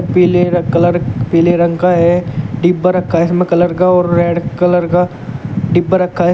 पीले र कलर पीले रंग का है डिब्बा रखा है इसमें कलर का और रेड कलर का डिब्बा रखा है।